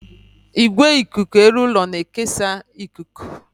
Igwe ikuku elu ụlọ na-ekesa ikuku.